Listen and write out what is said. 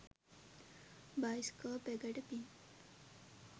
Bioscope එකට පින්.